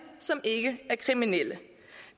som ikke er kriminelle